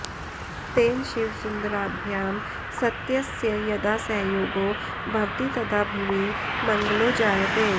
तेन शिवसुन्दराभ्यां सत्यस्य यदा सहयोगो भवति तदा भुवि मङ्गलो जायते